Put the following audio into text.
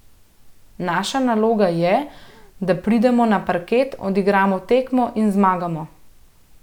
Naša naloga je, da pridemo na parket, odigramo tekmo in zmagamo.